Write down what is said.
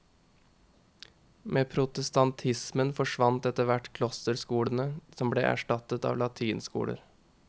Med protestantismen forsvant etterhvert klosterskolene, som ble erstattet av latinskoler.